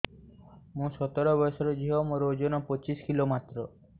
ମୁଁ ସତର ବୟସର ଝିଅ ମୋର ଓଜନ ପଚିଶି କିଲୋ ମାତ୍ର